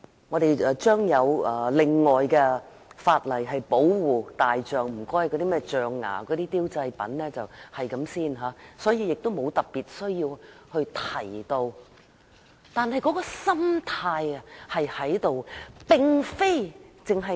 我們將有另外的法例保護大象，禁止銷售象牙製品，所以沒有特別需要在我的修正案中提到。